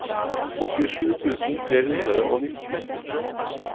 åttisju tusen tre hundre og nitten